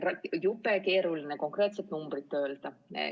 Jube keeruline on konkreetset numbrit öelda.